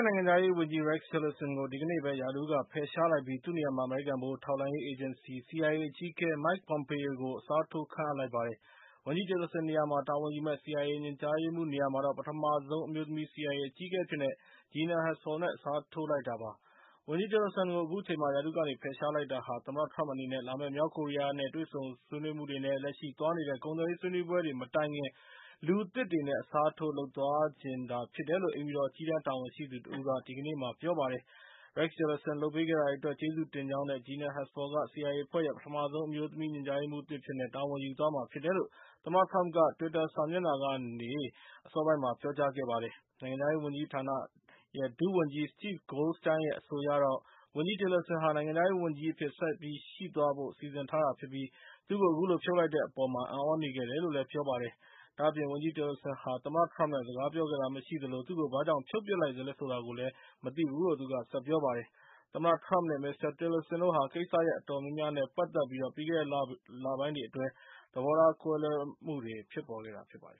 နိုင်ငံခြားရေးဝန်ကြီး Rex Tillerson ကို ဒီကနေ့ပဲ ရာထူးက ဖယ်ရှားလိုက်ပြီး သူ့နေရာမှာ အမေရိကန် ဗဟိုထောက်လှမ်းရေး အေဂျင်စီ အကြီးအကဲ Mike Pompeo ကို အစားထိုး ခန့်အပ်လိုက်ပါတယ်။ ဝန်ကြီး Tillerson နေရာမှာ ထာဝန်ယူမယ့် CIA ညွှန်ကြားရေးမှူးနေရာမှာတော့ ပထမဆုံး အမျိုးသမီး CIA အကြီးအကဲအဖြစ် Gina Haspel နဲ့ အစားထိုးလိုက်ပါတယ်။ ဝန်ကြီး Tillerson ကို အခုချိန်မှာ ရာထူးကနေဖယ်ရှား လိုက်တာဟာ ၊ သမ္မတထရမ့် အနေနဲ့ လာမယ့် မြောက်ကိုရီးယားနဲ့ တွေ့ဆုံဆွေးနွေးမှုတွေ နဲ့ လက်ရှိသွားနေတဲ့ ကုန်သွယ်ရေးဆွေးနွေးပွဲတွေ မတိုင်ခင် လူသစ်တွေနဲ့ အစားထိုးလုပ်ဆောင်သွားချင်တာ ဖြစ်တယ်လို့ အိမ်ဖြူတော် အကြီးတန်းတာဝန်ရှိသူတဦးက ဒီကနေ့ ပြောပါတယ်။ Rex Tillerson လုပ်ပေးခဲ့တာတွေအတွက် ကျေးဇူးတင်ကြောင်း နဲ့ Gina Haspel က CIA အဖွဲ့ရဲ့ ပထမဆုံးအမျိုးသမီး ညွှန်ကြားရေးမှူးအသစ်အဖြစ်နဲ့ တာဝန်ယူ သွားမှာဖြစ်တယ်လို့ သမ္မတထရမ့်က တွစ်တာစာမျက်နှာကနေ ပြောကြားလိုက်ပါတယ်။ နိုင်ငံခြားရေးဝန်ကြီးဌာန ဒုဝန်ကြီး Steve Goldstein ရဲ့ အဆိုအရတော့ ဝန်ကြီး Tillerson ဟာ နိုင်ငံခြားရေးဝန်ကြီးအဖြစ်နဲ့ ဆက်ပြီးရှိသွားဖို့ စီစဉ်ထားတာဖြစ်ပြီး၊ သူ့ကိုအခုလိုဖြုတ်လိုက်တဲ့အပေါ် အံ့သြနေခဲ့တယ်လို့ ပြောပါတယ်။ ဒါ့အပြင် ဝန်ကြီး Tillerson ဟာ သမ္မတထရမ့် နဲ့ စကားပြောခဲ့တာမရှိသလို၊ သူ့ကိုဘာကြောင့်ဖြုတ်ပစ် လိုက်သလဲဆိုတာကိုလည်း မသိဘူးလို့လည်း ဆက်ပြောပါတယ်။ သမ္မတထရမ့် နဲ့ မစ္စတာ Tillerson တို့ဟာ ကိစ္စရပ်အတော်များများ နဲ့ ပတ်သက်ပြီး ပြီးခဲ့တဲ့လတွေအတွင်း ထိပ်တိုက်တွေ့ခဲ့ကြတာဖြစ်ပါတယ